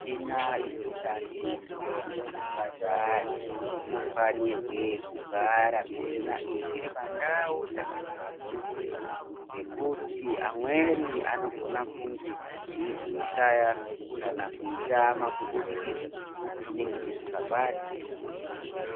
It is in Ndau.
Michina ino shandiswe mu zvipatara ino fanirwe kugara michina iyi iri pa ndau dzaka chengetedzeka ngekuti amweni anogona kunge eyizoi shaya kana ku itama kubudikidza nekuti inenge isinga batwi zvakanaka.